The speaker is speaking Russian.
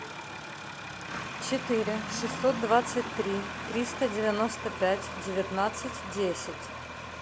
четыре шестьсот двадцать три триста девяносто пять девятнадцать десять